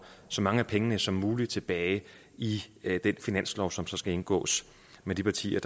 så mange af pengene som muligt tilbage i den finanslov som så skal indgås med de partier